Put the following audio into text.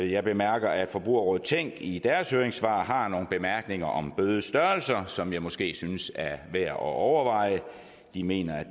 jeg bemærker at forbrugerrådet tænk i deres høringssvar har nogle bemærkninger om bødestørrelser som jeg måske synes er værd at overveje de mener at